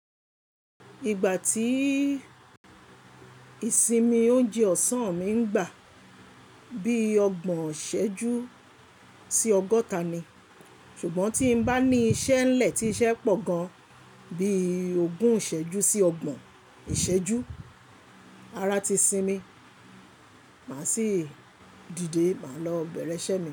Ìgbà tí ìsinmi oúnjẹ ọ̀sán mi ń gbà bí ọgbọ̀n ìṣẹ́jú sí ọgọ́ta ni. Ṣùgbọ́n tí n bá ní iṣẹ́ ńlẹ̀ tí iṣẹ́ pọ̀ gan bí ogún ìṣẹ́jú sí ọgbọ̀n ìṣẹ́jú, ara ti sinmi, màá sì dìde, màá lọ bẹ̀rẹ̀ iṣẹ́ mi.